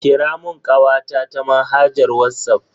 Kira mun kawata ta manhajar Whatsapp.